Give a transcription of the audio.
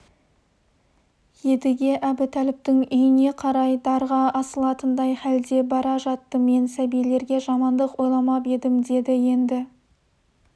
едіге әбутәліптің үйіне қарай дарға асылатындай хәлде бара жатты мен сәбилерге жамандық ойламап едім деді енді